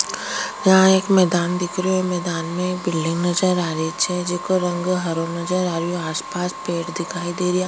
यहाँ एक मैदान दिखरो मैदान में बिल्डिंग नज़र आरी छे जेको रंग हरो नजर आ रियो आस पास पेड़ दिखाई दे रिया।